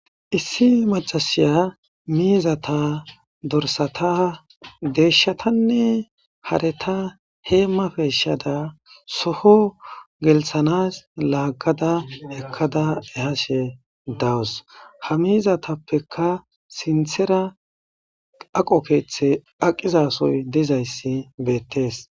Issi macasiya miizata dorsata deeshatanne hareta hee mapeeshada soho gelthanas laaggada ekkada ehashe dawus ha miizatappeka sinthera aqo keeththe aqizasoy dizayssi beettees.